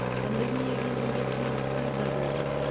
пандемия кезінде қиындықтар да болды